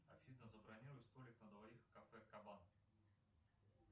афина забронируй столик на двоих в кафе кабан